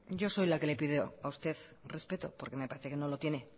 yo soy la que le pide a usted respeto porque me parece que no lo tiene